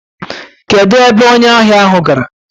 Kedụ ebe onye ahịa ahụ gara?